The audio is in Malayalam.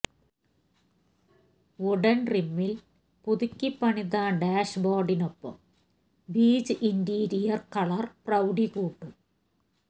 വുഡണ് ട്രിമ്മില് പുതുക്കിപ്പണിത ഡാഷ്ബോര്ഡിനൊപ്പം ബീജ് ഇന്റീരിയര് കളര് പ്രൌഡി കൂട്ടും